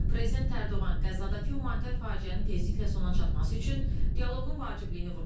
Prezident Ərdoğan Qəzadakı humanitar faciənin tezliklə sona çatması üçün dialoqun vacibliyini vurğulayıb.